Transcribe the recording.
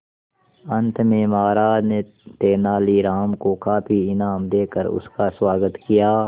अंत में महाराज ने तेनालीराम को काफी इनाम देकर उसका स्वागत किया